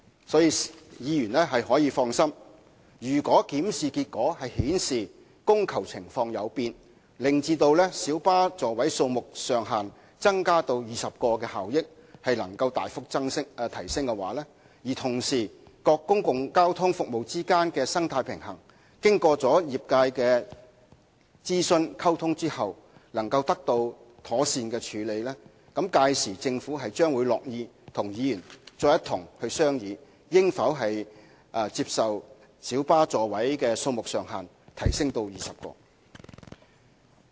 所以，議員大可放心，如果檢視結果顯示供求情況有變，令增加小巴座位數目上限至20個的效益能夠大幅提升，而同時各公共交通服務之間的生態平衡經與業界諮詢和溝通後能夠得到妥善處理，屆時政府將樂意和議員再一同商議應否把小巴座位數目上限增加至20個。